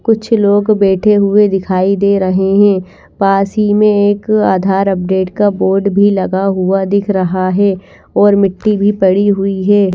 कुछ लोग बैठे हुए दिखाई दे रहे हैं पास ही में एक आधार अपडेट का बोर्ड भी लगा हुआ दिख रहा है और मिट्टी भी पड़ी हुई है।